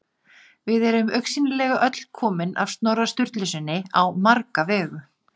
Við erum augsýnilega öll komin af Snorra Sturlusyni á marga vegu.